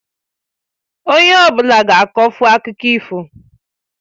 Onye ọ bụla ga-akọfu akụkọ ifo